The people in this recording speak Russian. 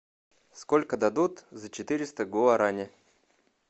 сколько дадут за четыреста гуарани